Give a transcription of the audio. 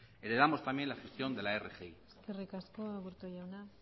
heredamos también la gestión de la rgi eskerrik asko aburto jauna